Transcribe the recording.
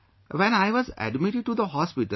When I was admitted to the hospital